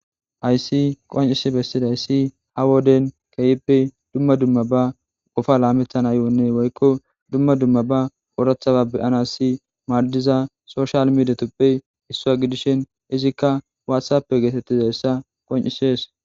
hayssi qoncisi bessidayssi ha woden keehippe dumma dumma ba gofa laametanayonne woykko dumma dumma ba oorathaba beyanassi maaddiza soshal miidetuppe isswua gidisin izikka waathappe geetettizayssa qoncishees.